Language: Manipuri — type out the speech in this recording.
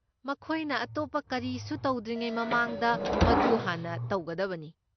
ꯃꯈꯣꯏꯅ ꯑꯇꯣꯞꯄ ꯀꯔꯤꯁꯨ ꯇꯧꯗ꯭ꯔꯤꯉꯩ ꯃꯃꯥꯡꯗ ꯃꯗꯨ ꯍꯥꯟꯅ ꯇꯧꯒꯗꯕꯅꯤ꯫